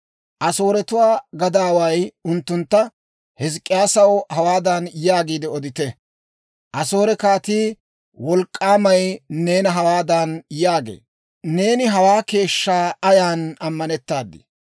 Asooretuwaa gadaaway unttuntta, «Hizk'k'iyaasaw hawaadan yaagiide odite; Asoore kaatii, wolk'k'aamay neena hawaadan yaagee; ‹Neeni hawaa keeshshaa ayan ammanettaadii?